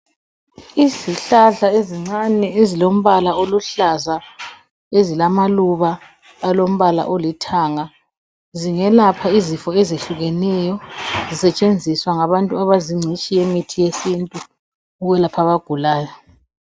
Izihlahla ezincane ezilombala oluhlaza ezilamaluba alombala olithanga. Zingelapha izifo ezehlukeneyo zisetshenziswa ngabantu abazingcitshi yemithi yesintu ukwelapha abagulayo.